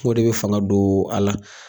O de be fanga don a la.